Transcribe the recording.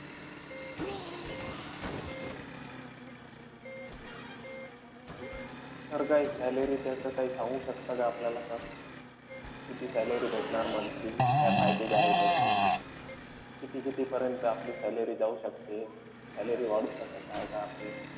Sir काई salary त्याचं काई सांगू शकता का आपल्याला sir? किती salary भेटणार monthly? काय package आहे त्याचं? किती-कितीपर्यंत आपली salary जाऊ शकते? salary वाढू शकत आहे का आपली?